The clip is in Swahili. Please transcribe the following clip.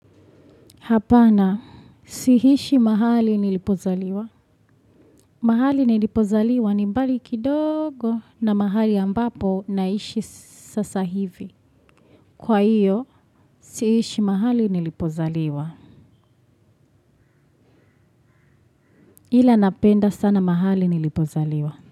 Hapana, siishi mahali nilipozaliwa. Mahali nilipozaliwa, ni mbali kidogo na mahali ambapo naishi sasa hivi. Kwa hiyo, siishi mahali nilipozaliwa. Ila napenda sana mahali nilipozaliwa.